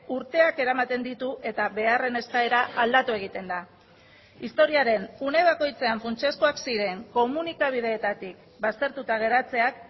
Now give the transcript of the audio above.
urteak eramaten ditu eta beharren eskaera aldatu egiten da historiaren une bakoitzean funtsezkoak ziren komunikabideetatik baztertuta geratzeak